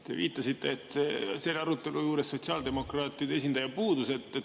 Te viitasite, et selle arutelu juurest sotsiaaldemokraatide esindaja puudus.